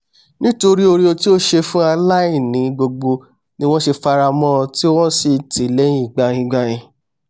nítotrí ore tí ó ṣe fún aláìní gbogbo ni wọ́n ṣẹ f'ara mọ́n ọn tí wọ́n sì tìí lẹ́hìn gbaingbain